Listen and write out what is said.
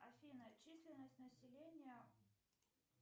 афина численность населения